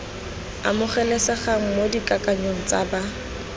amogelesegang mo dikakanyong tsa ba